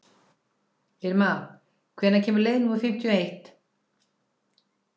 Irma, hvenær kemur leið númer fimmtíu og eitt?